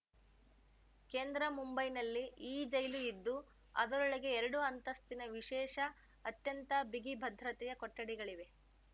ಕೇಂದ್ರ ಮುಂಬೈನಲ್ಲಿ ಈ ಜೈಲು ಇದ್ದು ಅದರೊಳಗೆ ಎರಡು ಅಂತಸ್ತಿನ ವಿಶೇಷ ಅತ್ಯಂತ ಬಿಗಿಭದ್ರತೆಯ ಕೊಠಡಿಗಳಿವೆ